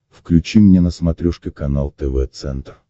включи мне на смотрешке канал тв центр